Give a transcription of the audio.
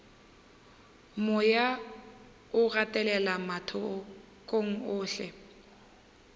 moya o gatelela mathokong ohle